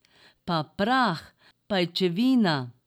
Pa prah, pajčevina.